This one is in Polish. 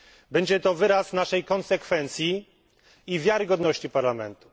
Będzie to wyraz naszej konsekwencji i wiarygodności Parlamentu.